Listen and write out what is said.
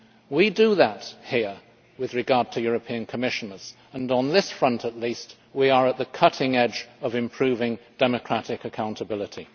We do that here with regard to European Commissioners and, on this front at least, we are at the cutting edge of improving democratic accountability.